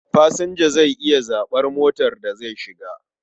Fasinja zai iya zaɓar motar da zai shiga.